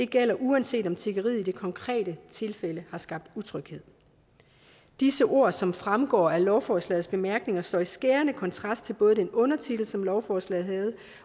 gælder uanset om tiggeriet i det konkrete tilfælde har skabt utryghed disse ord som fremgår af lovforslagets bemærkninger står i skærende kontrast til både den undertitel som lovforslaget havde